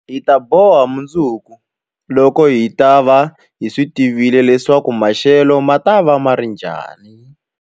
Hi ta boha mundzuku, loko hi ta va hi tivile leswaku maxelo ma ta va njhani.